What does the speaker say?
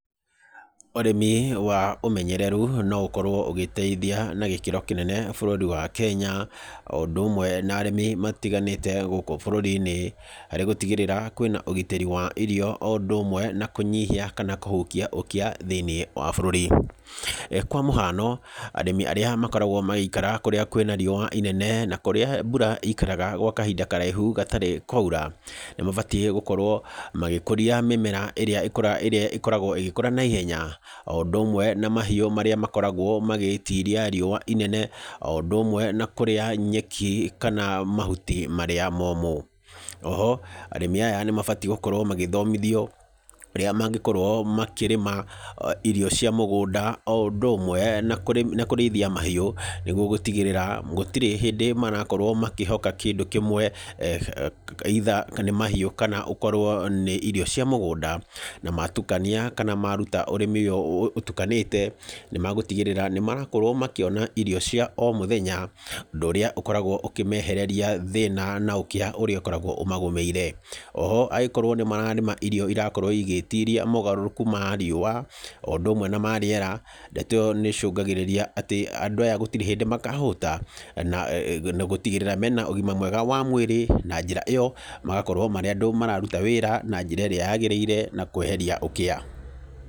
Ũrĩmi wa ũmenyereru no ũkorwo ũgĩteithia na gĩkĩro kĩnene bũrũri wa Kenya, o ũndũ ũmwe na arĩmi matiganĩte gũkũ bũrũri-inĩ, harĩ gũtigĩrĩra, kwĩna ũgitĩri wa irio o ũndũ ũmwe na kũnyihia kana kũhukia ũkĩa thĩiniĩ wa bũrũri. Kwa mũhano, arĩmi arĩa makoragwo magĩikara kũrĩa kwĩna riũa inene, na kũrĩa mbura ĩikaraga gwa kahinda karaihu gatarĩ kwaura, nĩ mabatiĩ gũkorwo, magĩkũria mĩmera ĩrĩa ĩrĩa ĩkoragwo ĩgĩkũra naihenya, o ũndũ ũmwe na mahiũ marĩa makoragwo magĩtiria riũa inene, o ũndũ ũmwe na kũrĩa nyeki kana mahuti marĩa momũ. Oho, arĩmi aya nĩ mabatiĩ gũkorwo magĩthomithio, ũrĩa mangĩkorwo makĩrĩma, irio cia mũgũnda, o ũndũ ũmwe na kũrĩithia mahiũ, nĩguo gũtigĩrĩra, gũtirĩ hĩndĩ marakorwo makĩhoka kĩndũ kĩmwe either nĩ mahiũ, kana ũkorwo nĩ irio cia mũgũnda, na matukania kana maruta ũrĩmi ũyũ ũtukanĩte, nĩ magũtigĩrĩra, nĩ marakorwo makĩona irio cia o mũthenya, ũndũ ũrĩa ũkoragwo ũkĩmehereria thĩna na ũkĩa ũrĩa ũkoragwo ũmagomeire. Oho angĩkorwo nĩ mararĩma irio irakorwo igĩtiria mogarũrũku ma riũa, o ũndũ ũmwe na ma rĩera, ndeto ĩyo nĩ ĩcũngagĩrĩria atĩ andũ aya gũtirĩ hĩndĩ makahũta, na gũtigĩrĩra mena ũgima mwega wa mwĩrĩ, na njĩra ĩyo, magakorwo marĩ andũ mararuta wĩra na njĩra ĩrĩa yagĩrĩire na kweheria ũkĩa.